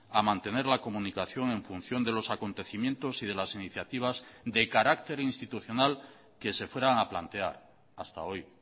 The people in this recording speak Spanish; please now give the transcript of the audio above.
a mantener la comunicación en función de los acontecimientos y de las iniciativas de carácter institucional que se fueran a plantear hasta hoy